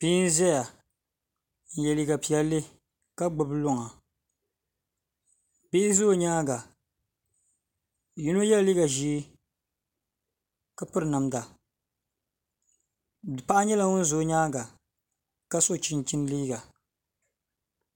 Bia n ʒɛya n yɛ liiga piɛlli kw gbubi luŋa bihi ʒɛ o nyaanga yino yɛla liiga ʒiɛ kq piri namda paɣa nyɛla ŋun ʒɛ o nyaanga ka so chinchin liiga